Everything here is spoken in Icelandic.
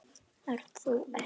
Ert þú ekki